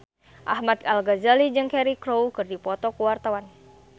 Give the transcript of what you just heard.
Ahmad Al-Ghazali jeung Cheryl Crow keur dipoto ku wartawan